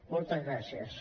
moltes gràcies